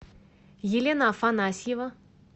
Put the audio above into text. елена афанасьева